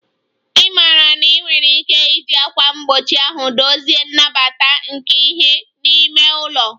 Ị maara na ị nwere ike iji ákwà mgbochi ahụ dozie nnabata nke ìhè n'ime ụlọ